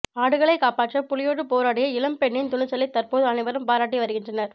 ஆடுகளைக் காப்பாற்ற புலியோடு போராடிய இளம் பெண்ணின் துணிச்சலை தற்போது அனைவரும் பாராட்டி வருகின்றனர்